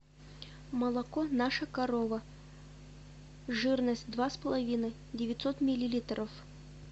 молоко наша корова жирность два с половиной девятьсот миллилитров